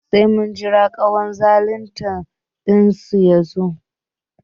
Sai mun jira kwanzaltan dinsu yazo